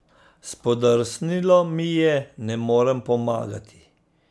Spodrsnilo mi je, ne morem pomagati.